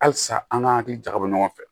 Halisa an ka hakili jakabɔ ɲɔgɔn fɛ